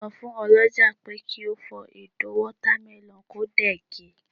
so fun olójà pe ki o fó Edo watermelon ko dẹ̀ ge